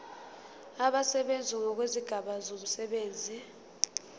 abasebenzi ngokwezigaba zomsebenzi